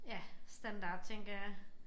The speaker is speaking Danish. Ja standard tænker jeg